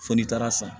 Fo n'i taara san